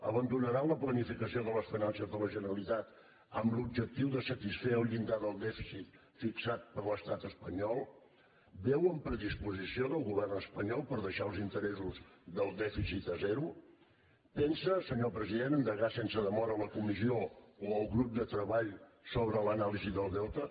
abandonaran la planificació de la finances de la generalitat amb l’objectiu de satisfer el llindar del dèficit fixat per l’estat espanyol veuen predisposició del govern espanyol per deixar els interessos del dèficit a zero pensa senyor president endegar sense demora la comissió o el grup de treball sobre l’anàlisi del deute